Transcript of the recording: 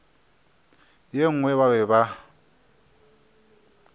ye nngwe ba be ba